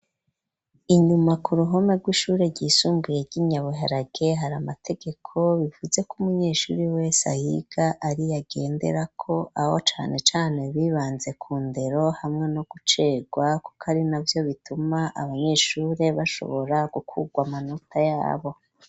Inyuma ku ruhome rw'ishure ryisumbuye ry'inyabuharage hari amategeko bivuzeko umunyeshuri wese ayiga ariyo agenderako aho cane cane bibanze ku ndero hamwe no gucerwa kuko ari navyo bituma abanyeshure bashobora gukurwa amanota yabo.